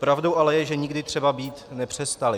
Pravdou ale je, že nikdy třeba být nepřestaly.